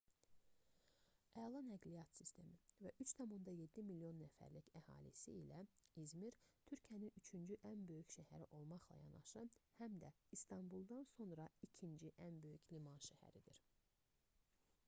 əla nəqliyyat sistemi və 3,7 milyon nəfərlik əhalisi ilə i̇zmir türkiyənin üçüncü ən böyük şəhəri olmaqla yanaşı həm də i̇stanbuldan sonra ikinci ən böyük liman şəhəridir